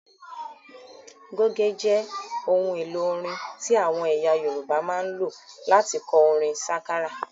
Goge jẹ ohun èlò orin tí àwọn ẹyà Yorùbá máa ń lò láti kọ orin sákárà